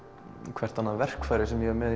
hvert annað verkfæri sem ég er með